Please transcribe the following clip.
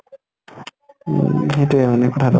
উম সিইটোয়ে মানে ভাল